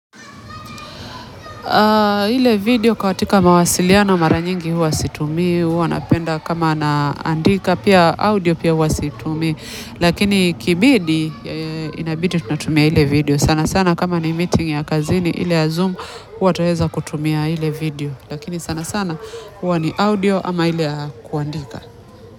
Ile video katika mawasiliano mara nyingi huwa situmii huwa napenda kama na andika pia audio pia huwa situmii lakini ikibidi inabidi tunatumia ile video sana sana kama ni meeting ya kazini ile ya zoom huwa tuaeza kutumia ile video lakini sana sana huwa ni audio ama ile ya kuandika.